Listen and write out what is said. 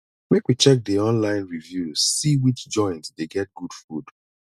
make we check di online reviews see which joint dey get good food